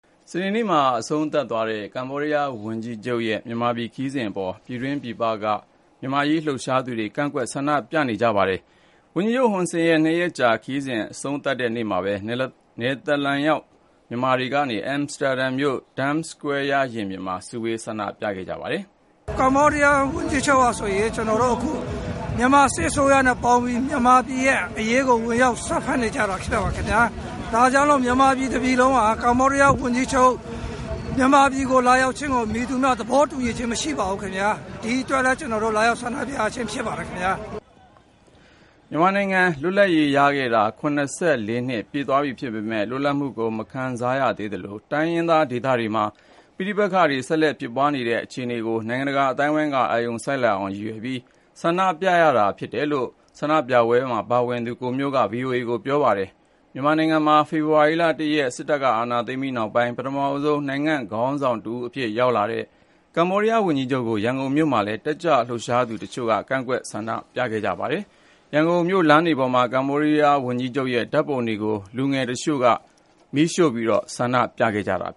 စနေနေ့မှာ အဆုံးသတ်သွားတဲ့ ကမ္ဘောဒီးယား ဝန်ကြီးချုပ်ရဲ့ မြန်မာနိုင်ငံ ခရီးစဉ်အပေါ် ပြည်တွင်း ပြည်ပက မြန်မာ့အရေး လှုပ်ရှားသူတွေ ကန့်ကွက် ဆန္ဒပြကြပါတယ်။ ဝန်ကြီးချုပ် ဟွန်ဆန်ရဲ့ ၂ ရက်ကြာခရီးစဉ် အဆုံးသတ်တဲ့နေ့မှာပဲ နယ်သာလန်နိုင်ငံရောက် မြန်မာတွေ အမ်စတာဒမ်မြို့ ဒမ်စကွဲယားရင်ပြင်မှာ စုဝေး ဆန္ဒပြခဲ့ကြတာပါ။ “ကမ္ဘောဒီးယား ဝန်ကြီးချုပ်ဟာ အခု မြန်မာစစ်အစိုးရနဲ့ပေါင်းပြီး မြန်မာပြည်အရေးကို ဝင်ရောက်စွက်ဖက်နေကြတာ ဖြစ်ပါတယ်။ ဒါကြောင့် မြန်မာတပြည်လုံးဟာ ကမ္ဘောဒီးယားဝန်ကြီးချုပ် မြန်မာပြည်ကို လာရောက်ခြင်းကို မည်သူမှ သဘောတူညီချင်း မရှိပါဘူး။ ဒီအတွက်လည်း ကျနော်တို့ လာရောက် ဆန္ဒပြရခြင်း ဖြစ်ပါတယ်။” မြန်မာနိုင်ငံ လွပ်လပ်ရေးရခဲ့တာ ၇၄ နှစ် ပြည့်သွားပြီဖြစ်ပေမယ့် လွတ်လပ်မှုကို မခံစားရသေးသလို တိုင်းရင်းသား ဒေသတွေမှာ ပဋိပက္ခတွေ ဆက်လက်ဖြစ်ပွားနေတဲ့ အခြေအနေတွေကို နိုင်ငံတကာ အသိုင်းအဝန်းက အာရုံစိုက်လာအောင် ရည်ရွယ်ပြီး ဆန္ဒပြရတာလို့လည်း ဆန္ဒပြပွဲမှာ ပါဝင်သူ ကိုမျိုးက ဗွီအိုအေကို ပြောပါတယ်။ မြန်မာနိုင်ငံမှာ ဖေဖော်ဝါရီလ ၁ ရက်နေ့ စစ်တပ်က အာဏာသိမ်းပြီးနောက်ပိုင်း ပထမဆုံး နိုင်ငံ့ခေါင်းဆောင် တဦးအဖြစ် ရောက်လာတဲ့ ကမ္ဘောဒီးယား ဝန်ကြီးချုပ်ကို ရန်ကုန်မြို့မှာလည်း တက်ကြွလှုပ်ရှားသူ တချို့က ကန့်ကွက် ဆန္ဒပြခဲ့ကြပါတယ်။ ရန်ကုန်မြို့ လမ်းတွေပေါ်မှာ ကမ္ဘောဒီးယား ဝန်ကြီးချုပ်ရဲ့ ဓာတ်ပုံတွေကို လူငယ်တချို့ မီးရှို့ပြီး ဆန္ဒပြခဲ့ကြတာပါ။